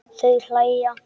Þau hlæja.